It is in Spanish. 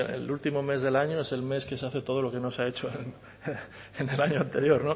el último mes del año es el mes que se hace todo lo que no se ha hecho en el año anterior